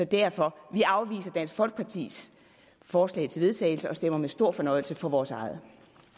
derfor afviser vi dansk folkepartis forslag til vedtagelse og stemmer med stor fornøjelse for vores eget